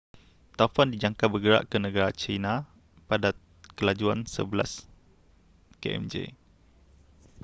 taufan dijangka bergerak ke negara china pada kelajuan sebelas kmj